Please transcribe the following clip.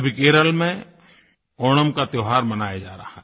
अभी केरल में ओणम का त्योहार मनाया जा रहा है